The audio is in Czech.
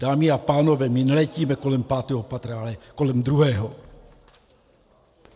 Dámy a pánové, my neletíme kolem pátého patra, ale kolem druhého.